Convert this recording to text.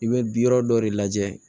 I bɛ bi yɔrɔ dɔ de lajɛ